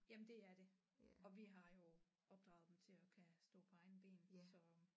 Jamen det er det og vi har jo opdraget dem til at kan stå på egne ben så